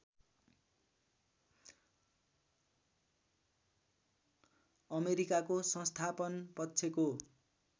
अमेरिकाको संस्थापन पक्षको